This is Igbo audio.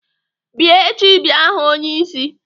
Bịa echi bịa hụụ onyeisi!